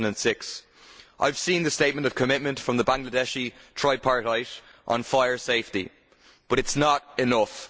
2006. I have seen the statement of commitment from the Bangladeshi tripartite on fire safety, but it is not enough.